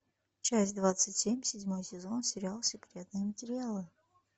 часть двадцать семь седьмой сезон сериал секретные материалы